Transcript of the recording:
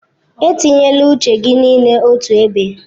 Etinyela uche gị niile otu ebe.